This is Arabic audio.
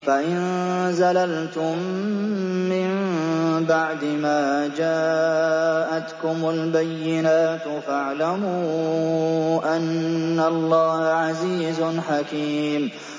فَإِن زَلَلْتُم مِّن بَعْدِ مَا جَاءَتْكُمُ الْبَيِّنَاتُ فَاعْلَمُوا أَنَّ اللَّهَ عَزِيزٌ حَكِيمٌ